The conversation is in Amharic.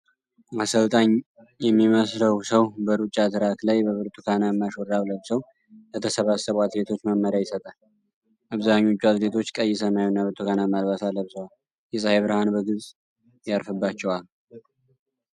አሰልጣኝ የሚመስለው ሰው በሩጫ ትራክ ላይ በብርቱካናማ ሹራብ ለብሰው ለተሰባሰቡ አትሌቶች መመሪያ ይሰጣል። አብዛኞቹ አትሌቶች ቀይ፣ ሰማያዊና ብርቱካናማ አልባሳት ለብሰዋል። የፀሐይ ብርሃን በግልጽ ያርፍባቸዋል።